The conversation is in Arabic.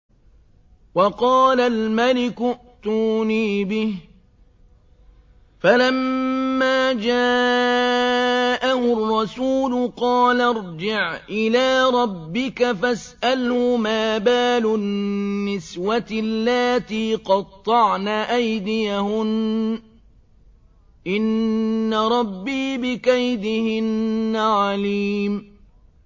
وَقَالَ الْمَلِكُ ائْتُونِي بِهِ ۖ فَلَمَّا جَاءَهُ الرَّسُولُ قَالَ ارْجِعْ إِلَىٰ رَبِّكَ فَاسْأَلْهُ مَا بَالُ النِّسْوَةِ اللَّاتِي قَطَّعْنَ أَيْدِيَهُنَّ ۚ إِنَّ رَبِّي بِكَيْدِهِنَّ عَلِيمٌ